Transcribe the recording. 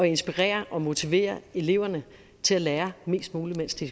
inspirere og motivere eleverne til at lære mest muligt mens de